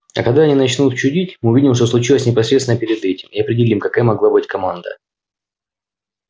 а когда они начнут чудить мы увидим что случилось непосредственно перед этим и определим какая могла быть команда